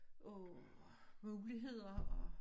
Af muligheder og